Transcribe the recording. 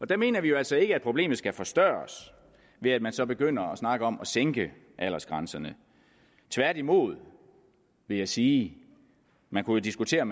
der mener vi jo altså ikke at problemet skal forstørres ved at man så begynder at snakke om at sænke aldersgrænserne tværtimod vil jeg sige man kunne diskutere